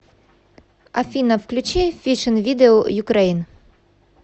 афина включи фишин видиэу юкрэйн